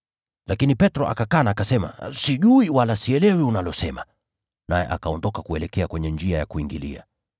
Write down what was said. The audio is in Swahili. Lakini Petro akakana, akasema, “Sijui wala sielewi unalosema.” Naye akaondoka kuelekea kwenye njia ya kuingilia.